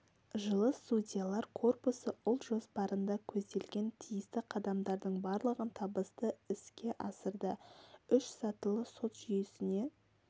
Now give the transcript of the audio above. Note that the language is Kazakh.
жылы судьялар корпусы ұлт жоспарында көзделген тиісті қадамдардың барлығын табысты іске асырды үш сатылы сот жүйесіне